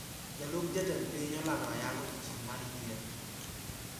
Jalup jatend piny olando ayanga odioching mar yiero